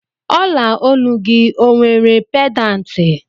Ola Onu gị ọ nwere pedanti